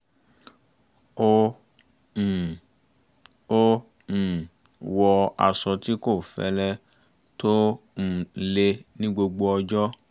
ó um ó um wọ aṣọ tí kò fẹ́lẹ́ tó um le ní gbogbo ọjọ́